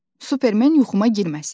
Superman yuxuma girməsin.